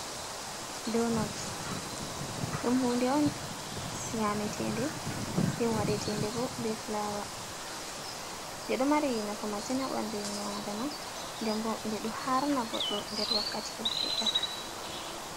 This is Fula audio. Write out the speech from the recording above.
Do not ɗum hude on nyametede den waɗetende bo be fulawa, nde ɗo mari nafu masin haɓandu innu adama, dembo de ɗo harna goɗɗo nder wakkati yel seɗɗa.